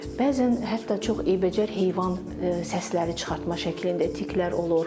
Bəzən hətta çox iyrənc heyvan səsləri çıxartma şəklində tiklər olur.